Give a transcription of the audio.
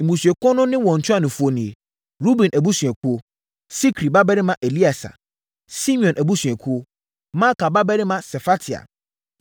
Mmusuakuo no ne wɔn ntuanofoɔ nie: Ruben abusuakuo: Sikri babarima Elieser; Simeon abusuakuo: Maaka babarima Sefatia;